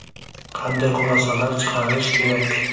Qanday xulosalar chiqarish kerak?